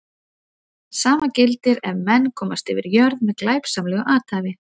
Sama gildir ef menn komast yfir jörð með glæpsamlegu athæfi.